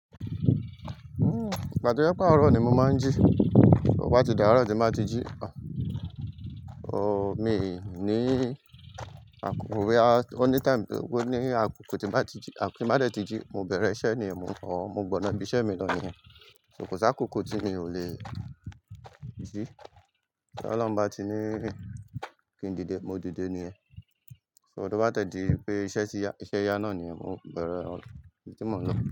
Ìgbà tí ó jẹ pe àárọ̀ ni mo máa ń jí. Ò bá ti dàárọ̀ tí m ba ti jí. O mii ní àkókò, boya oni time to je pé ní àkókò tí m ba ti jí, àkókò tí m ba dẹ ti jí, mo bẹ̀rẹ̀ iṣẹ́ niyen, mo ọ́, mo gbọ̀nà ibi iṣẹ́ mi lọ níyẹn. So kò sákókò tí mi ò le jí. To Oloun ba tí ní kí n dìde, mo dìde níyẹn. So tí o bá de dí pé iṣẹ́ tí ya, iṣẹ́ ya náà niyen mó bẹ̀rẹ̀ ibi tí mò ń lọ.